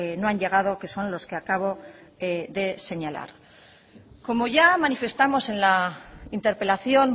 no han llegado que son los que acabo de señalar como ya manifestamos en la interpelación